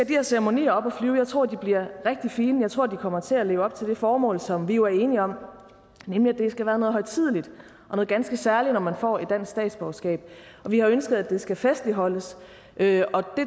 de her ceremonier op at flyve jeg tror de bliver rigtig fine jeg tror de kommer til at leve op til det formål som vi jo er enige om nemlig at det skal være noget højtideligt og noget ganske særligt når man får et dansk statsborgerskab vi har ønsket at det skal festligholdes det